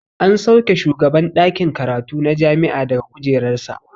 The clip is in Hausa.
An sauke shugaban ɗakin karatu na jami'a daga kujerar sa.